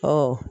Ɔ